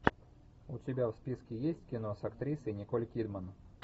у тебя в списке есть кино с актрисой николь кидман